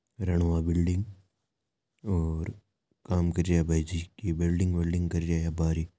Ranwa building और काम कर रहिया है भाईजी की बेल्डिंग वेल्डिंग कर रहिया है अबार ही।